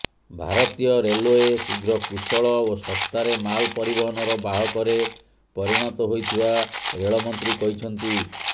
ଭାରତୀୟ ରେଲଓ୍ବେ ଶୀଘ୍ର କୁଶଳ ଓ ଶସ୍ତାରେ ମାଲ ପରିବହନର ବାହକରେ ପରିଣତ ହୋଇଥିବା ରେଳ ମନ୍ତ୍ରୀ କହିଛନ୍ତି